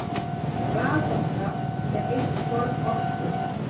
Raforka er eitt form orku.